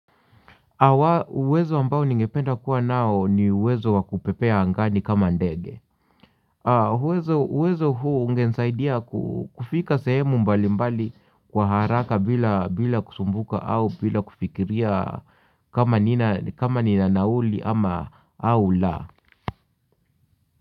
Uwezo ambao ningependa kuwa nao ni uwezo wa kupepea angani kama ndege. Uwezo huo ungenisaidia kufika sehemu mbali mbali kwa haraka bila kusumbuka au bila kufikiria kama nina nauli ama au la.